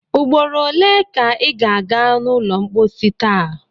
Ugboro ole ka ị ga a ga n’ụlọ mposi taa?